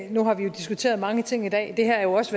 nu har vi jo diskuteret mange ting i dag det her er jo også